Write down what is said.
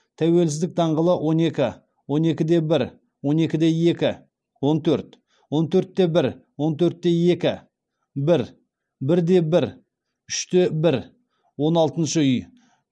тәуелсіздік даңғылы он екі он екі де бір он екі де екі он төрт он төрт те бір он төрт те екі бір бір де бір үш те бір он алтыншы үй